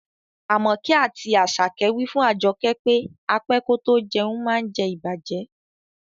Amoke ati Asake wi fun Ajoke pe á pẹ kò tó jẹ̀un maá ǹ jẹ̀ ìbàjẹ́.